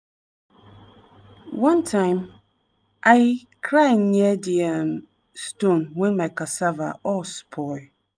one time i cry near di um stone when my cassava all spoil.